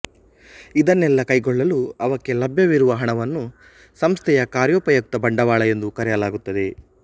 ಇದನ್ನೆಲ್ಲಾ ಕೈಗೊಳ್ಳಲು ಅವಕ್ಕೆ ಲಭ್ಯವಿರುವ ಹಣವನ್ನು ಸಂಸ್ಥೆಯ ಕಾರ್ಯೋಪಯುಕ್ತ ಬಂಡವಾಳ ಎಂದು ಕರೆಯಲಾಗುತ್ತದೆ